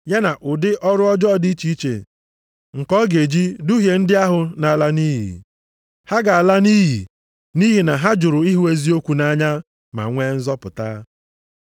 Ya na ụdị ọrụ ọjọọ dị iche iche nke ọ ga-eji duhie ndị ahụ na-ala nʼiyi. Ha ga-ala nʼiyi nʼihi na ha jụrụ ịhụ eziokwu nʼanya ma nwee nzọpụta.